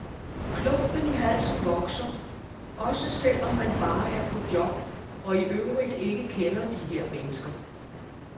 Klumpen i halsen vokser, også selv om man bare er på job og i øvrigt ikke kender de her mennesker.